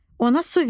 Ona su ver.